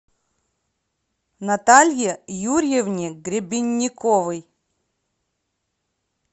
наталье юрьевне гребенниковой